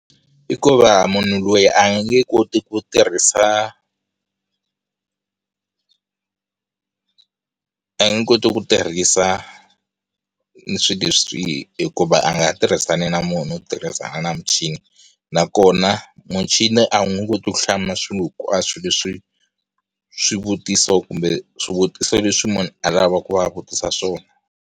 I ku va munhu loyi a nge koti ku tirhisa a nge koti ku tirhisa ni swilo leswi hikuva a nga tirhisani na munhu u tirhisana na muchini. Na kona muchini a wu nge koti ku hlamula swilo a swilo leswi, swivutiso kumbe, swivutiso leswi munhu a lavaka ku va a vutisa swona.